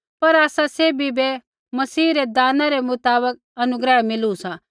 पर आसा सैभी बै मसीह रै दाना रै मुताबक अनुग्रह मिलु सा